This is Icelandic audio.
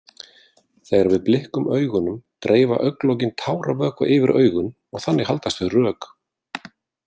Þegar við blikkum augunum dreifa augnlokin táravökva yfir augun og þannig haldast þau rök.